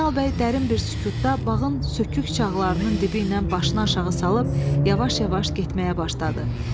Zeynal bəy dərin bir sükutda bağın sökük çağlarının dibi ilə başını aşağı salıb yavaş-yavaş getməyə başladı.